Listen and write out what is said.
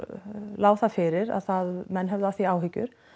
lá það fyrir að menn höfðu af því áhyggjur